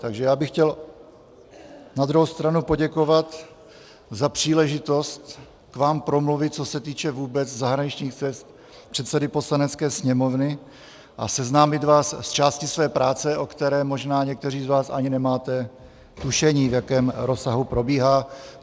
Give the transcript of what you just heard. Takže já bych chtěl na druhou stranu poděkovat za příležitost k vám promluvit, co se týče vůbec zahraničních cest předsedy Poslanecké sněmovny, a seznámit vás s částí své práce, o které možná někteří z vás ani nemáte tušení, v jakém rozsahu probíhá.